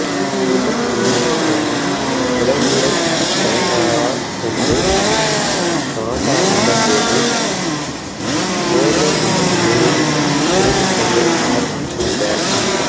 தித்தன் என்னும் மன்னன் உறையூரைத் தலைநகராகக் கொண்டு நாடாண்டபோது போர்வை என்னும் ஊரில் இருந்துகொண்டு ஆட்சி புரிந்தவன்